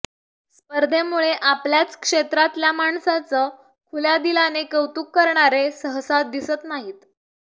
स्पर्धेमुळे आपल्याच क्षेत्रातल्या माणसांचं खुल्या दिलाने कौतुक करणारे सहसा दिसत नाहीत